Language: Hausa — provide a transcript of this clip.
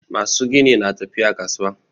Masu gini na tafiya kasuwa